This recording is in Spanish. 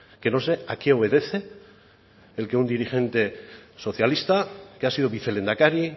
que no sé a qué obedece el que un dirigente socialista que ha sido vicelehendakari